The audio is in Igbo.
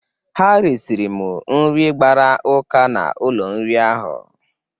Ha resiri m nri gbara ụka n;ụlọ nri ahụ.